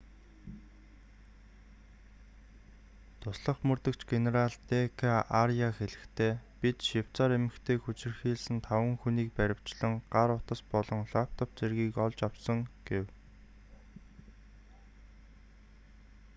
туслах мөрдөгч генерал д.к.аряа хэлэхдээ бид швейцарь эмэгтэйг хүчирхийлсэн таван хүнийг баривчлан гар утас болон лаптоп зэргийг нь олж авсан” гэв